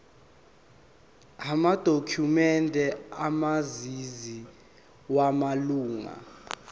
amadokhumende omazisi wamalunga